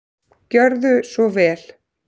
Gjörðu svo vel.